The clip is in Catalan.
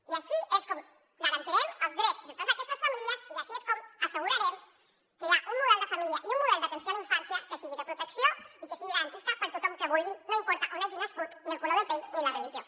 i així és com garantirem els drets de totes aquestes famílies i així és com assegurarem que hi ha un model d’atenció a la infància que sigui de protecció i que sigui garantista per a tothom que ho vulgui no importa on hagi nascut ni el color de pell ni la religió